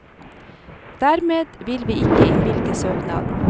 Dermed vil vi ikke innvilge søknaden.